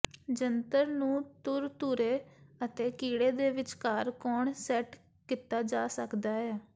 ਜੰਤਰ ਨੂੰ ਧੁਰ ਧੁਰੇ ਅਤੇ ਕੀੜੇ ਦੇ ਵਿਚਕਾਰ ਕੋਣ ਸੈੱਟ ਕੀਤਾ ਜਾ ਸਕਦਾ ਹੈ